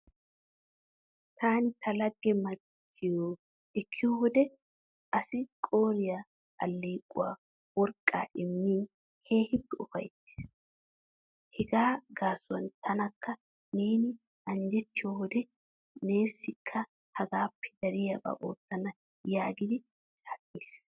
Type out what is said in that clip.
Taani ta laggee machchiyo ekkiyo wode assi qooriya alkeequwa woriqqaa immiin keehippe ufayittiis. Hegaa gaasuwan tanakka neeni anjjettiyo wode neessikka hagaappe dariyaba oottana yaagidi caaqqiis.